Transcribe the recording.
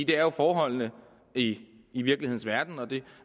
er jo forholdene i i virkelighedens verden og det